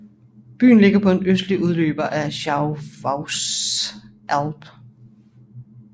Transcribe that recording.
Byen ligger på en østlig udløber af Schwäbische Alb